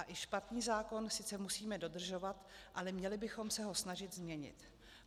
A i špatný zákon sice musíme dodržovat, ale měli bychom se ho snažit změnit.